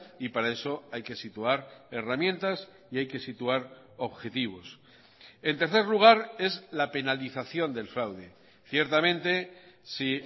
y para eso hay que situar herramientas y hay que situar objetivos en tercer lugar es la penalización del fraude ciertamente si